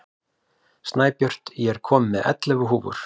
Snæbjört, ég kom með ellefu húfur!